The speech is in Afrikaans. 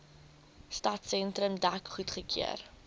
stadsentrum dek goedgekeur